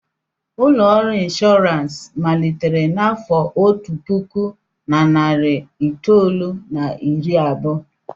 Ụlọ ọrụ inshọransị malitere n'afọ otu puku na narị itoolu na iri abụọ.